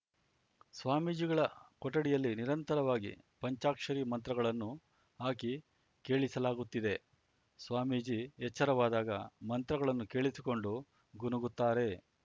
ಸ್ವಾಮೀಜಿಗಳ ಕೊಠಡಿಯಲ್ಲಿ ನಿರಂತರವಾಗಿ ಪಂಚಾಕ್ಷರಿ ಮಂತ್ರಗಳನ್ನು ಹಾಕಿ ಕೇಳಿಸಲಾಗುತ್ತಿದೆ ಸ್ವಾಮೀಜಿ ಎಚ್ಚರವಾದಾಗ ಮಂತ್ರಗಳನ್ನು ಕೇಳಿಸಿಕೊಂಡು ಗುನುಗುತ್ತಾರೆ